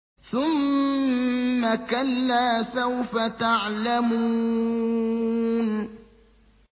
ثُمَّ كَلَّا سَوْفَ تَعْلَمُونَ